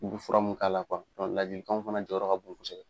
Kuru fura mun k'a la kuwa dɔnku ladilikanw fana jɔyɔrɔ ka bon kosɛbɛ